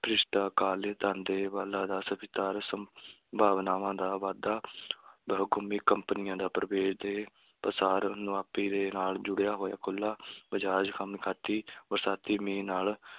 ਭ੍ਰਿਸ਼ਟਾਕਾਲ ਭਾਵਨਾਵਾਂ ਦਾ ਵਾਧਾ ਬਹੁਕੌਮੀ ਕੰਪਨੀਆਂ ਦਾ ਪ੍ਰਵੇਸ਼ ਦੇ ਪਸਾਰ, ਮੁਨਾਫ਼ੇ ਨਾਲ ਜੁੜਿਆ ਹੋਇਆ ਖੁੱਲ੍ਹਾ ਬਜ਼ਾਰ ਬਰਸਾਤੀ ਮੀਂਹ ਨਾਲ